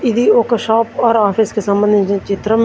ఇది ఒక shop or office కి సంబంధించిన చిత్రం.